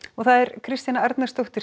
Kristjana Arnarsdóttir